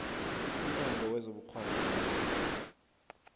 umnyango wezobukghwari namasiko